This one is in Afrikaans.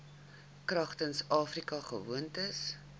kragtens afrika gewoontereg